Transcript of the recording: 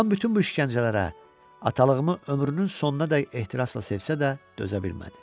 Anam bütün bu işgəncələrə, atalığımı ömrünün sonunadək ehtirasla sevsə də dözə bilmədi.